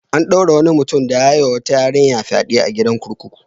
An ɗaure wani mutum da ya yi wa wata yarinya fyaɗe a gidan kurkuku.